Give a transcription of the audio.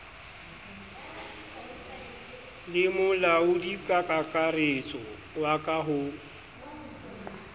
le molaodikakaretso wa ka ho